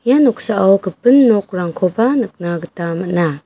ia noksao gipin nokrangkoba nikna gita man·a.